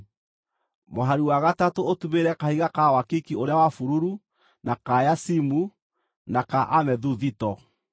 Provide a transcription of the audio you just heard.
mũhari wa gatatũ ũtumĩrĩre kahiga ka wakiki ũrĩa wa bururu, na ka yacimu, na ka amethuthito;